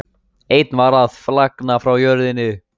Einn var að flagna frá jörðinni.